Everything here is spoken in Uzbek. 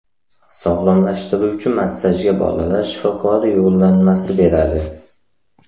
Sog‘lomlashtiruvchi massajga bolalar shifokori yo‘llanma beradi.